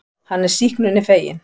Hann er sýknunni feginn.